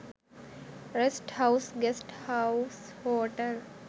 rest house guest house hotel